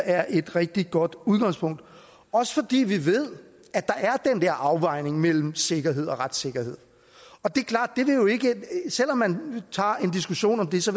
er et rigtig godt udgangspunkt også fordi vi ved at der er den der afvejning mellem sikkerhed og retssikkerhed og det er klart at selv om man tager en diskussion om det så